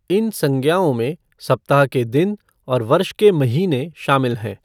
इन संज्ञाओं में सप्ताह के दिन और वर्ष के महीने शामिल हैं।